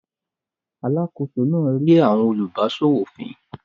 Alákòóso náà rín àwọn olùbáṣòwò fín.